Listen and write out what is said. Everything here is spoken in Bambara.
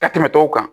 Ka tɛmɛ tɔw kan